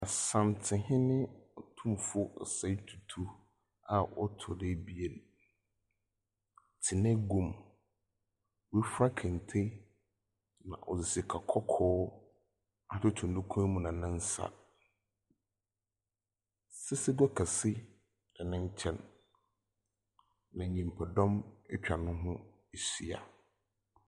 Asantehene Otumfoɔ Osei Tutu, a ɔtɔdo abien, tse n'eguam. Wafura kente na ɔdze sika kɔkɔɔ atoto ne kɔnmu na nensa. Asesegwa kɛse da n'enkyɛn, na nipa dɔm atwa neho ahyia.